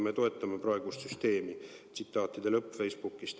Me toetame praegust süsteemi.